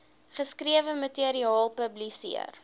geskrewe materiaal publiseer